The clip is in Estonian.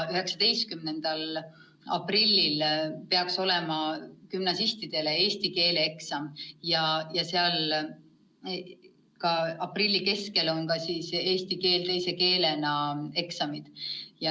19. aprillil peaks olema gümnasistide eesti keele eksam ja aprilli keskel on ka eesti keel teise keelena eksam.